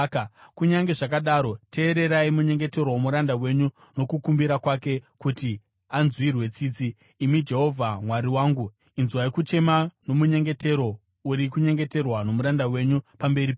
Kunyange zvakadaro teererai munyengetero womuranda wenyu nokukumbira kwake kuti anzwirwe tsitsi, imi Jehovha Mwari wangu. Inzwai kuchema nomunyengetero uri kunyengeterwa nomuranda wenyu pamberi penyu.